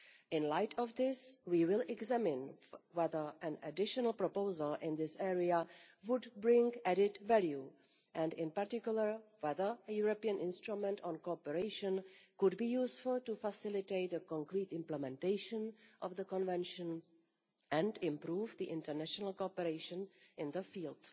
In the light of this, we will examine whether an additional proposal in this area would bring added value, and in particular whether a European instrument on cooperation could be useful to facilitate concrete implementation of the Convention and improve the international cooperation in the field.